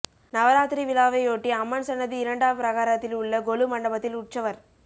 நவராத்திரி விழாவையொட்டி அம்மன் சன்னதி இரண்டாம் பிரகாரத்தில் உள்ள கொலு மண்டபத்தில் உற்சவர்